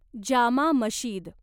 Jama Masjid